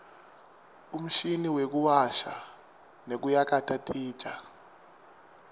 umshini wekuwasha nekuyakata titja